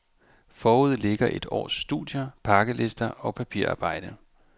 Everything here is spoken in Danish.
Forude ligger et års studier, pakkelister og papirarbejde.